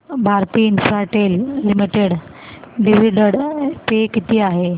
Bharti Infratel limited dividend पे किती आहे